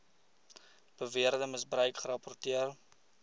beweerde misbruik gerapporteer